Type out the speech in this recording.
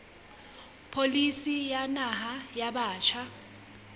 pholisi ya naha ya batjha